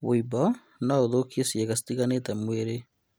Wũimbo noũthũkie ciĩga itigaine cia mwĩrĩ